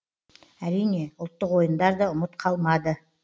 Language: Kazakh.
әрине ұлттық ойындар да ұмыт қалмады